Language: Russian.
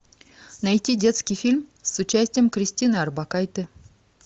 найти детский фильм с участием кристины орбакайте